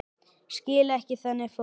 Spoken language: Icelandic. Skil ekki þannig fólk.